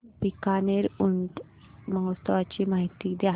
बीकानेर ऊंट महोत्सवाची माहिती द्या